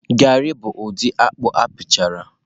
garị bụ ụdị akpụ akpụchara